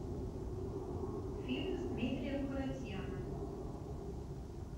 фильм с дмитрием харатьяном